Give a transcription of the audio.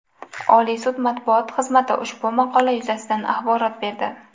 Oliy sud Matbuot xizmati ushbu maqola yuzasidan axborot berdi .